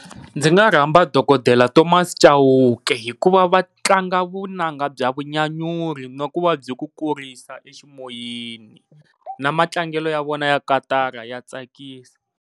Ndzi nga rhamba dokodela Thomas Chauke hikuva va tlanga vunanga bya vanyanyuri na ku va byi ku kurisa eximoyeni na matlangelo ya vona ya katara ya tsakisa.